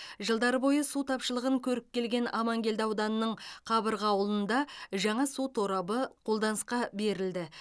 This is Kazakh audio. жылдар бойы су тапшылығын көріп келген амангелді ауданының қабырға ауылында жаңа су торабы қолданысқа берілді